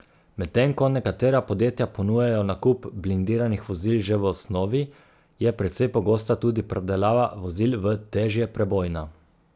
Medtem ko nekatera podjetja ponujajo nakup blindiranih vozil že v osnovi, je precej pogosta tudi predelava vozil v težje prebojna.